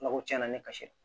tiɲɛna ne ka se